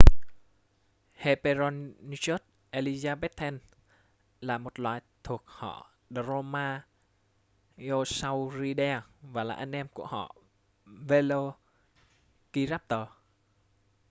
hesperonychus elizabethae là một loài thuộc họ dromaeosauridae và là anh em họ của velociraptor